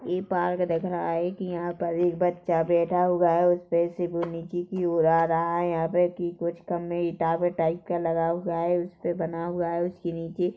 ई park दिख रहा हैं की यहाँ पर एक बच्चा बैठा हुआ हैं उसपे से वो नीचे की ओर आ रहा हैं यहाँ पे की कुछ कमे ईताबे टाइप का लगा हुआ हैं उसपे बना हुआ हैं उसके नीचे--